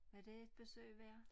Er det et besøg værd?